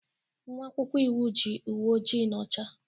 Nwa akwụkwọ iwu yi uwe ojii na ọcha